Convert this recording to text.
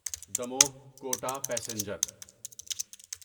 Damoh Kota passenger